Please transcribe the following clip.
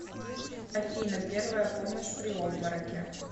афина первая помощь при обмороке